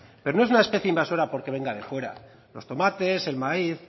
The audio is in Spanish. pero no es una especie invasora porque venga de fuera los tomates el maíz